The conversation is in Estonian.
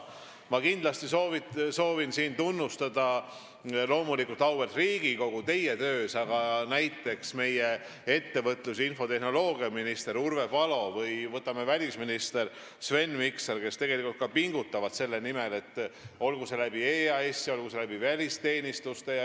Ma kindlasti soovin siin tunnustada auväärt Riigikogu tööd, aga ka näiteks meie ettevõtlus- ja infotehnoloogiaministrit Urve Palot ja välisminister Sven Mikserit, kes tegelikult ka pingutavad selle nimel, olgu EAS-i või välisteenistuste kaudu.